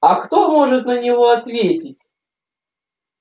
а кто может на него ответить